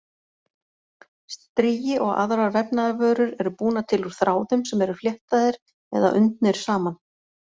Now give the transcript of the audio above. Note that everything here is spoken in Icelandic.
Strigi og aðrar vefnaðarvörur eru búnar til úr þráðum sem eru fléttaðir eða undnir saman.